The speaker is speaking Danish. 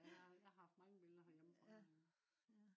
ja jeg har haft mange billeder herhjemme fra